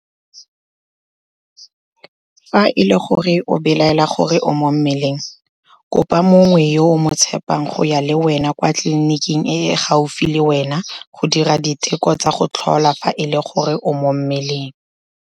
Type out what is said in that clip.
Fa e le gore o belaela gore o mo mmeleng, kopa mongwe yo o mo tshepang go ya le wena kwa tleliniking e e gaufi le wena go dira diteko tsa go tlhola fa e le gore o mo mmeleng.